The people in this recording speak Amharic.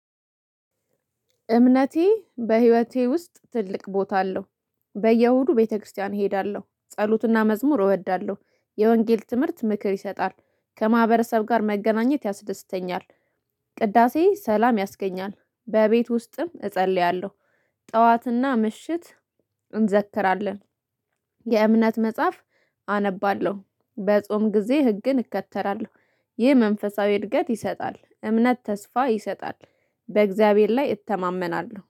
እምነቴ በህይወቴ ውስጥ ትልቅ ቦታ አለው። በየእሁዱ ቤተክርስቲያን እሄዳለሁ ጸሎትና መዝሙር እወዳለሁ የወንጌል ትምህርት ምክር ይሰጣል ከማህበረሰብ ጋር መገናኘት ያስደስተኛል። ቅዳሴ ሰላም ያስገኛል በቤት ውስጥም እጸልያለሁ። ጠዋትና ምሽት እንዘክራለን። የእምነት መጽሐፍ አነባለሁ። በጾም ጊዜ ህግን እከተራለሁ ይህ መንፈሳዊ እድገት ይሰጣል። እምነት ተስፋ ይሰጣል። በእግዚአብሔር ላይ እተማመናለሁ